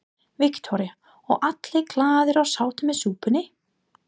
Viktoría: Og allir glaðir og sáttir með súpuna?